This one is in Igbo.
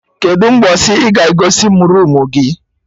Kedụ mgbọsị ị ga egosi mụ roomu gị?